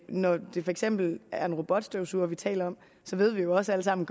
når det for eksempel er en robotstøvsuger vi taler om at vi jo også alle sammen